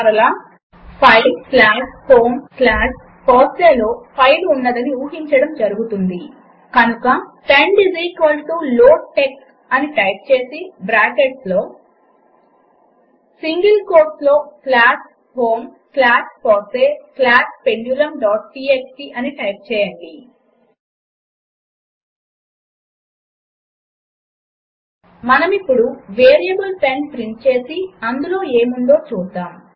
మరలా file slash home slash fosseeలో file ఉన్నదని ఊహించడం జరుగుతుంది కనుక బ్రాకెట్స్లో పెండ్ లోడ్టీఎక్స్టీ అని టైప్ చేసి సింగిల్ కోట్లో slash home slash FOSSEE slash pendulumటీఎక్స్టీ అని టైప్ చేయండి మనమిప్పుడు వేరియబుల్ పెండ్ ప్రింట్ చేసి అందులో ఏముందో చూద్దాము